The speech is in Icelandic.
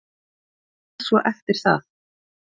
Hvað svo eftir það?